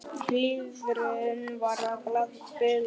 Lifrin var að bila.